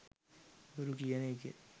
බොරු කියන එකෙත්